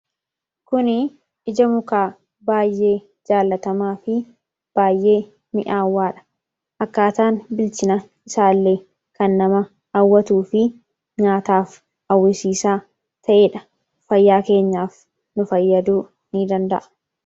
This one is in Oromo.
kuni ija mukaa baayyee jaalatamaa fi baayyee mi'aawwaadha akkaataan bilchina isaa illee kan nama awwatuu fi nyaataaf awwisiisaa ta'ee dha fayyaa keenyaaf nu fayyaduu in danda'a